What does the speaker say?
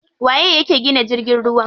Waye yake gina jirgin ruwa?